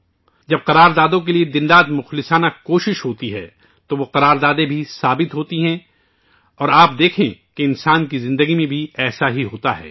جب ان عزم کو پورا کرنے کے لئے دن رات ایمانداری سے کوشش کی جاتی ہے تو وہ عزم پورے بھی ہوتے ہیں اور آپ دیکھیئے ، کسی شخص کی زندگی میں بھی ایسا ہی ہوتا ہے